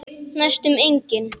Næstum engin.